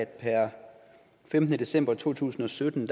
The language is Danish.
per femtende december to tusind og sytten